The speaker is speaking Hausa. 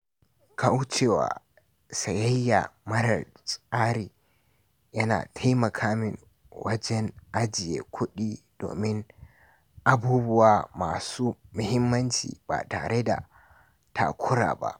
Kauce wa sayayya marar tsari yana taimaka min wajen ajiye kuɗi domin abubuwa masu mahimmanci ba tare da takura ba.